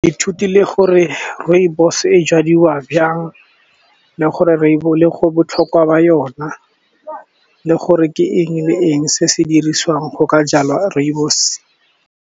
Ke ithutile gore rooibos e jadiwa jang le go botlhokwa ba yona, le gore ke eng le eng se se dirisiwang go ka jala rooibos.